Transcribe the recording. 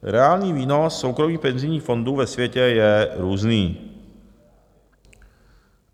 Reálný výnos soukromých penzijních fondů ve světě je různý.